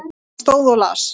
Hann stóð og las.